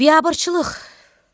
Biyabırçılıq!